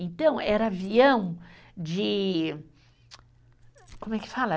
Então, era avião de, como é que fala?